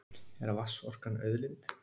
Er vatnsorkan auðlind?